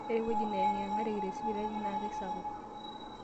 Ore ewueji neyengiyengareki tesipitali na keisapuk.